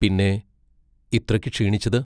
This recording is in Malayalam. പിന്നെ ഇത്രയ്ക്ക് ക്ഷീണിച്ചത്?